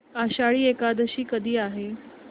आषाढी एकादशी कधी आहे